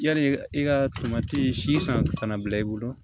Yali i ka tomati si san ka na bila i bolo